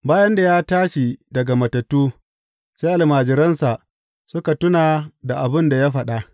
Bayan da ya tashi daga matattu, sai almajiransa suka tuna da abin da ya faɗa.